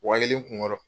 Wa kelen kunkɔrɔ